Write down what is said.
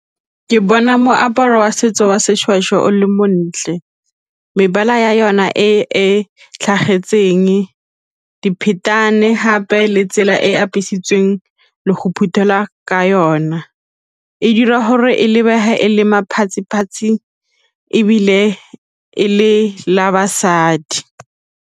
Ke bona moaparo wa setso wa seshweshwe o le montle, mebala ya yona e tlhagetseng, diphetane gape le tsela e e apesitsweng le go phuthela ka yona, e dira gore e lebega e le ebile e le la basadi.